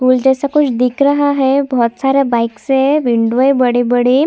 फूल जैसा कुछ दिख रहा है बहुत सारा बाइकस है विंडो है बड़े बड़े--